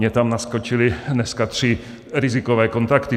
Mně tam naskočily dneska tři rizikové kontakty.